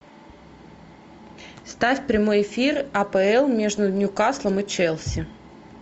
ставь прямой эфир апл между ньюкаслом и челси